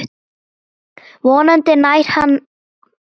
Vonandi nær hann bata.